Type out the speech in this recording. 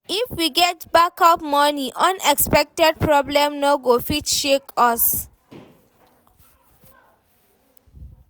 If we get backup money, unexpected problem no go fit shake us.